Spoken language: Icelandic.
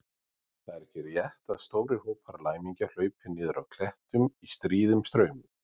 Það er ekki rétt að stórir hópar læmingja hlaupi niður af klettum í stríðum straumum.